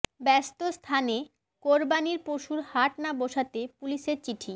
ব্যস্ত স্থানে কোরবানির পশুর হাট না বসাতে পুলিশের চিঠি